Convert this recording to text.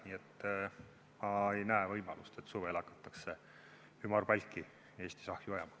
Nii et ma ei näe võimalust, et suvel hakatakse Eestis ümarpalki ahju ajama.